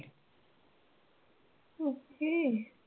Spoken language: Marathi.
Okay.